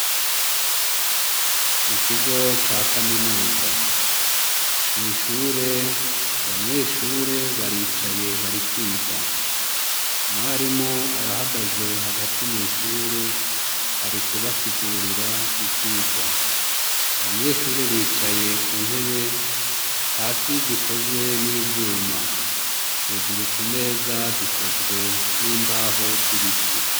Mu kigo ca kaminuza, mw'ishur' abanyeshure baricaye bari kwiga, umwarim' arahagaze hagati mw'ishure arikubasigurir' ivyigwa, abanyeshure bicaye ku ntebe, hasi zikozwe n' ivyuma, hejuru kumeza zikozwe n' imbaho z ibiti.